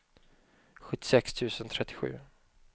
sjuttiosex tusen trettiosju